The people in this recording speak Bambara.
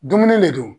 Dumuni le don